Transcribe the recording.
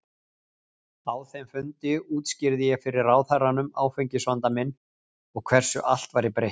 Á þeim fundi útskýrði ég fyrir ráðherranum áfengisvanda minn og hversu allt væri breytt.